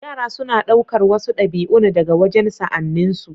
Yara suna ɗaukar wasu ɗabi'un daga wajen sa'anninsu.